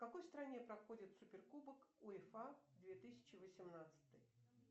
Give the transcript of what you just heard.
в какой стране проходит суперкубок уефа две тысячи восемнадцатый